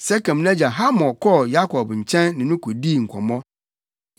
Sekem nʼagya Hamor kɔɔ Yakob nkyɛn ne no kodii nkɔmmɔ.